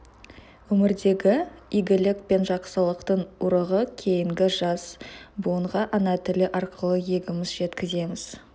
өмірдегі игілік пен жақсылықтың ұрығы кейінгі жас буынға ана тілі арқылы егеміз жеткіземіз